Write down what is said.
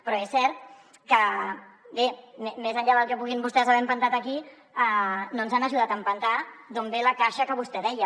però és cert que bé més enllà del que puguin vostès haver empentat aquí no ens han ajudat a empentar d’on ve la caixa que vostè deia